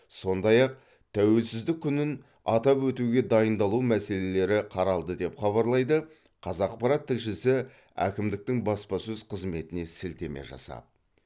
сондай ақ тәуелсіздік күнін атап өтуге дайындалу мәселелері қаралды деп хабарлайды қазақпарат тілшісі әкімдіктің баспасөз қызметіне сілтеме жасап